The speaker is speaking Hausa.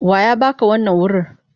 Wa ya ba ka wannan wurir?